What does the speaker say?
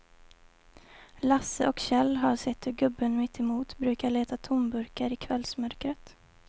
Lasse och Kjell har sett hur gubben mittemot brukar leta tomburkar i kvällsmörkret.